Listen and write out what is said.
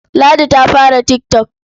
Ladi ta fara tik tok.